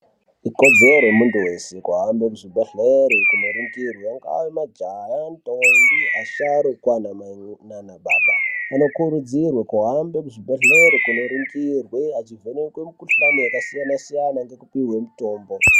Ikodzero yemuntu weshe kohambe kuzvibhedhlere koningirwa inga majaya, ntombi, asharu kana mamai nababa. Vanokurudzirwa kohambe kuzvibhedlere koningirwe, achivhenekwe mikhuhlane yakasiyana siyana ngekupiwe mitombo.